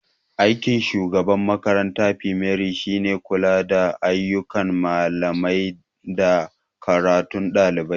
Aikin shugaban makarantar fimare shine kula da ayyukan malamai da karatun ɗalibai.